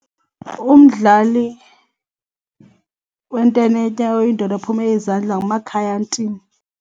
Umdlali wententetya oyindoda ophumele izandla nguMakhaya Ntini.